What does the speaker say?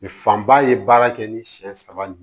fanba ye baara kɛ ni siyɛn saba ye